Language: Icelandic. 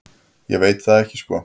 Ég veit það ekki sko.